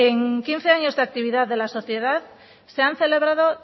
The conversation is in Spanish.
en quince años de actividad de la sociedad se han celebrado